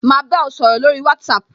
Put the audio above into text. Ma ba ọ sọ̀rọ̀ lórí WhatsApp